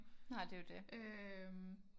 Nej det er jo det